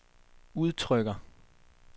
udtrykker